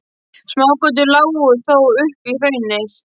Smágötur lágu þó upp í hraunið.